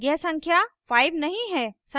यह संख्या 5 नहीं है